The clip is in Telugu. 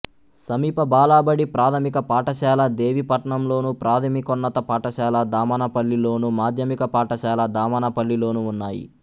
సమీప బాలబడి ప్రాథమిక పాఠశాల దేవీపట్నంలోను ప్రాథమికోన్నత పాఠశాల దామనపల్లిలోను మాధ్యమిక పాఠశాల దామనపల్లిలోనూ ఉన్నాయి